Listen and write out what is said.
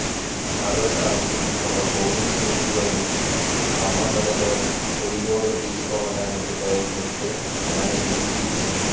మరో సారి ఒక పోలీసు ఉద్యోగి అమ్మ మెడలోని పులిగోరు తీసుకోవటానికి ప్రయత్నిస్తే అమ్మే తీసి ఇచ్చింది